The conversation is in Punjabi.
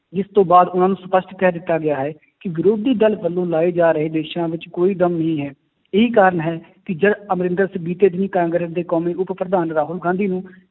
ਜਿਸ ਤੋਂ ਬਾਅਦ ਉਹਨਾਂ ਨੂੰ ਸਪਸ਼ਟ ਕਹਿ ਦਿੱਤਾ ਗਿਆ ਹੈ ਕਿ ਵਿਰੋਧੀ ਦਲ ਵੱਲੋਂ ਲਾਏ ਜਾ ਰਹੇ ਦੋਸ਼ਾਂ ਵਿੱਚ ਕੋਈ ਦਮ ਨਹੀਂ ਹੈ, ਇਹੀ ਕਾਰਨ ਹੈ ਕਿ ਜਦ ਅਮਰਿੰਦਰ ਸਿੰਘ ਬੀਤੇ ਦਿਨ ਹੀ ਕਾਂਗਰਸ ਦੇ ਕੌਮੀ ਉਪ ਪ੍ਰਧਾਨ ਰਾਹੁਲ ਗਾਂਧੀ ਨੂੰ